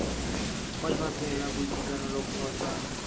kwa lefapheng la boitekanelo kgotsa